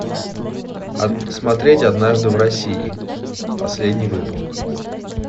смотреть однажды в россии последний выпуск